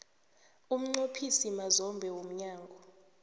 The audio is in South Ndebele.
umnqophisi mazombe womnyango